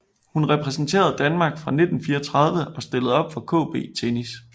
Hun repræsenterede Danmark fra 1934 og stillede op for KB Tennis